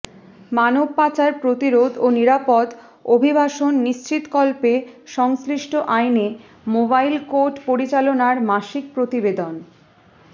মানব পাচার প্রতিরোধ ও নিরাপদ অভিবাসন নিশ্চিতকল্পে সংশ্লিষ্ট আইনে মোবাইল কোর্ট পরিচালনার মাসিক প্রতিবেদন